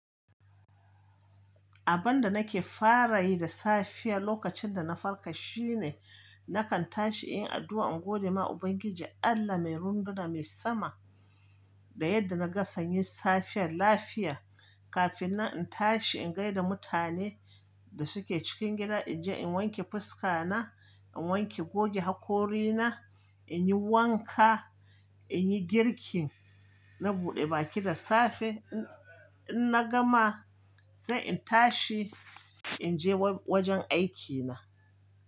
Abin da nake fara yi da safiya lokacin da na farka shine nakan tashi in yi addu'a in gode ma Ubangiji Allah mai ruhuna mai sama da yadda na ga sanyi safiyar lafiya kafin nan in tashi in gaida mutane da suke cikin gida. In je in wanke fuska na, in wanke goge hakori na, in yi wanka, in yi girki, na buɗe baki da safe. In na gama, sai in tashi in je wajen aikina.